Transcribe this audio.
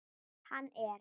Hann er.